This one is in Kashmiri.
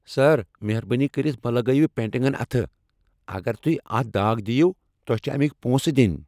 سر، مہربٲنی کٔرتھ مہٕ لگٲوِو پینٹنگن اتھہٕ ۔ اگر تُہۍ اتھ داغ دِیو ، تۄہہ چھ امِكِۍ پونسہٕ دِنۍ ۔